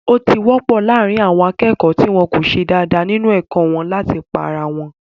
Ó ti wọ́pọ̀ láàrín àwọn akẹ́kọ̀ọ́ tí wọ́n ko ṣe dáadáa nínu ẹ̀kọ́ wọn láti pá ara wọn